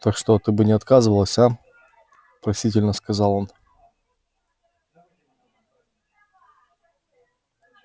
так что ты бы не отказывалась а просительно сказал он